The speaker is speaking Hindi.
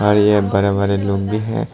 और यह बड़े बड़े लोग भी है।